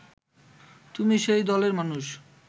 তুমি সেই দলের মানুষ